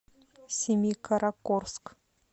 семикаракорск